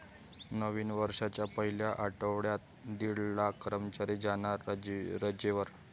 नवीन वर्षाच्या पहिल्या आठवड्यात दीड लाख कर्मचारी जाणार रजेवर!